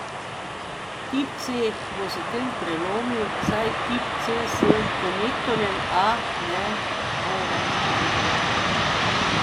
Tip C bo s tem prelomil, saj tip C s konektorjem A ne bo več združljiv.